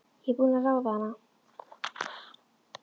Ég er búin að ráða hana!